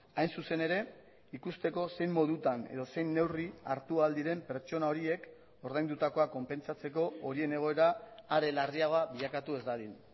hain zuzen ere ikusteko zein modutan edo zein neurri hartu ahal diren pertsona horiek ordaindutakoa konpentsatzeko horien egoera are larriagoa bilakatu ez dadin